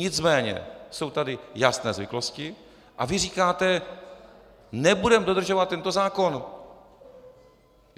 Nicméně jsou tady jasné zvyklosti a vy říkáte: nebudeme dodržovat tento zákon.